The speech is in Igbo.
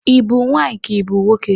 Ị bụ nwaanyị ka ị bụ nwoke?